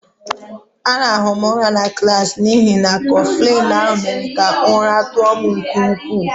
A rahụrụ m ụra na klaasị n'ihi na Kọflịn ahụ mere ka ụra tụọ m nke ukwu